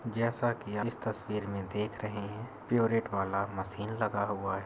जैसा कि इस तस्वीर में देख रहे हैं। प्योरइट वाला मशीन लगा हुआ है।